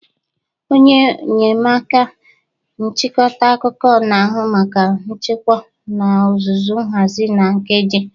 Onye enyemaka nchịkọta akụkọ na-ahụ maka nchịkwa n'ozuzu, nhazi na nkeji